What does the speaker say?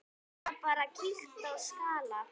Eða bara kýlt á skalla!